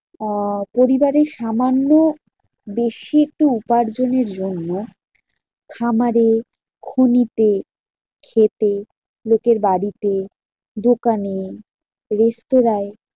আহ পরিবারের সামান্য বেশি একটু উপার্জনের জন্য খামারে, খনিতে, ক্ষেতে, লোকের বাড়িতে, দোকানে, রেস্তোরায়